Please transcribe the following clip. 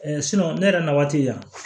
ne yɛrɛ na waati la